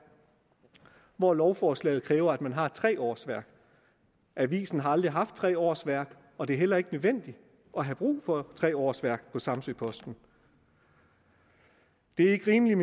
hvor lovforslaget kræver at man har tre årsværk avisen har aldrig haft tre årsværk og det er heller ikke nødvendigt at have tre årsværk på samsø posten det er ikke rimeligt